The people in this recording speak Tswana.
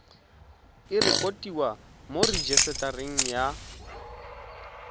e rekotiwe mo rejisetareng ya